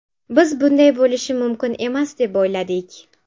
Biz bunday bo‘lishi mumkin emas deb o‘yladik.